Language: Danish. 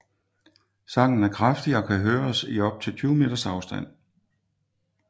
Sangen er kraftig og kan høres i op til 20 meters afstand